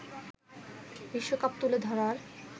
বিশ্বকাপ তুলে ধরার